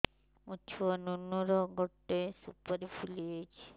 ମୋ ଛୁଆ ନୁନୁ ର ଗଟେ ସୁପାରୀ ଫୁଲି ଯାଇଛି